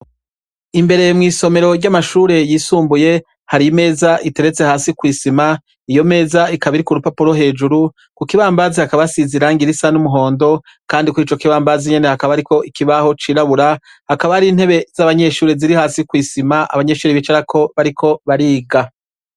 Imbere mw'isomero ry'amashure yisumbuye hari imeza iteretse hasi kw'isima iyo meza ikabiri ku rupapuro hejuru ku kibambazi hakabasizirangira isa n'umuhondo, kandi kuri co kibambazi nyene hakaba, ariko ikibaho cirabura hakaba ari intebe z'abanyeshuri ziri hasi kw'isima abanyeshuri bicarako bariko bariga.